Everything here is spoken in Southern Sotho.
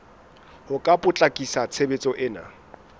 ho ka potlakisa tshebetso ena